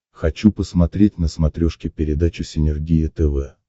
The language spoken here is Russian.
хочу посмотреть на смотрешке передачу синергия тв